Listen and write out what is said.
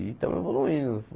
E estamos evoluindo.